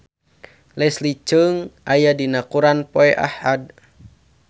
Leslie Cheung aya dina koran poe Ahad